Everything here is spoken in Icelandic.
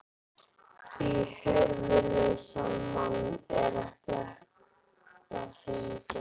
Því höfuðlausan mann er ekki hægt að hengja.